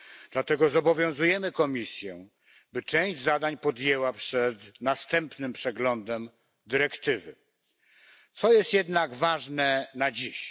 Dlatego zobowiązujemy Komisję, by część zadań podjęła przed następnym przeglądem dyrektywy. Co jest jednak ważne na dziś?